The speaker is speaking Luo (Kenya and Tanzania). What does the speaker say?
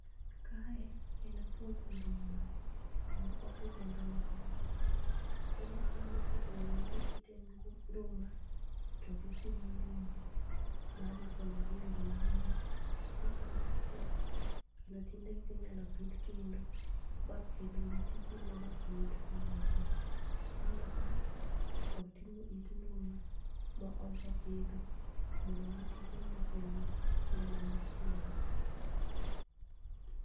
Kae en puoth nduma ku ma opidhe nduma ma ber koro aneno ka jogi ng'ado ite nduma to gi kunyo nduma ma dhi konyo gi e yore mang'eny. Ko oseng'ad te kendo tiende gi inyal pidh kendo ba kendo gi ti kendo ba kel nduma moko. Aneno ka oting'o it nduma ma odwa pidho mondo mi oti kedno okel nduma ma chielo.